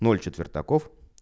ноль четвертаков